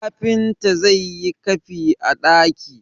kafinta zai yi kafi a daki!